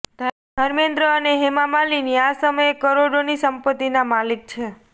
ધર્મેન્દ્ર અને હેમા માલિની આ સમયે કરોડોની સંપત્તિના માલિક છે